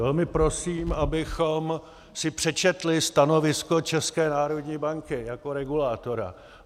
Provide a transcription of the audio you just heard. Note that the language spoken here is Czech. Velmi prosím, abychom si přečetli stanovisko České národní banky jako regulátora.